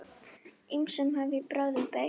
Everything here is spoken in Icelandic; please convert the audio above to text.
Ýmsum hef ég brögðum beitt.